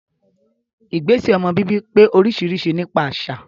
Ìgbésẹ̀ ọmọ bíbí pé oríṣiríṣi nípa àṣà